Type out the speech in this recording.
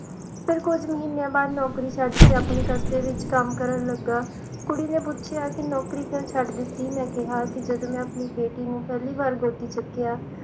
ਫਿਰ ਕੁਝ ਮਹੀਨਿਆਂ ਬਾਅਦ ਨੌਕਰੀ ਛੱਡ ਕੇ ਆਪਣੇ ਕਸਬੇ ਵਿਚ ਕੰਮ ਕਰਨ ਲੱਗਾ ਕੁੜੀ ਨੇ ਪੁਛਿਆ ਕਿ ਨੌਕਰੀ ਕਿਉ ਛੱਡ ਦਿੱਤੀ ਮੈਂ ਕਿਹਾ ਕਿ ਜਦੋਂ ਮੈਂ ਆਪਣੀ ਬੇਟੀ ਨੂੰ ਪਹਿਲੀ ਵਾਰ ਗੋਦੀ ਚੁੱਕਿਆ